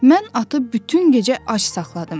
Mən atı bütün gecə ac saxladım.